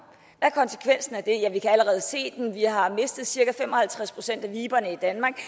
er konsekvensen af det ja vi kan allerede se den vi har mistet cirka fem og halvtreds procent af viberne i danmark